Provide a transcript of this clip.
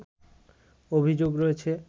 অভিযোগ রয়েছে